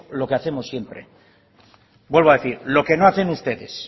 lo que hacemos siempre vuelvo a decir lo que no hacen ustedes